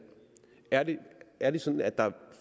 er det er det sådan at der